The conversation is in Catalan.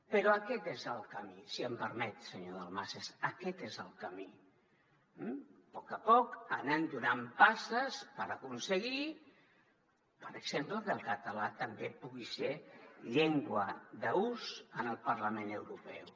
però aquest és el camí si m’ho permet senyor dalmases aquest és el camí a poc a poc anar donant passes per aconseguir per exemple que el català també pugui ser llengua d’ús en el parlament europeu